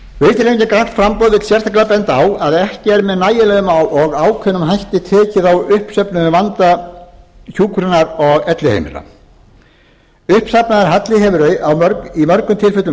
vill sérstaklega benda á að ekki er með nægjanlega ákveðnum hætti tekið á uppsöfnuðum vanda hjá hjúkrunar og elliheimila uppsafnaður halli hefur í mörgum tilfellum